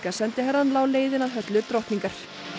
sendiherrann lá leiðin að höllu drottningar